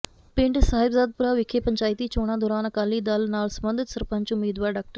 ਪਿੰਡ ਸਹਿਬਾਜਪੁਰਾ ਵਿਖੇ ਪੰਚਾਇਤੀ ਚੋਣਾਂ ਦੌਰਾਨ ਅਕਾਲੀ ਦਲ ਨਾਲ ਸਬੰਧਤ ਸਰਪੰਚ ਉਮੀਦਵਾਰ ਡਾ